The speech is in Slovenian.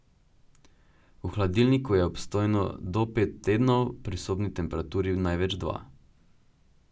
V hladilniku je obstojno do pet tednov, pri sobni temperaturi največ dva.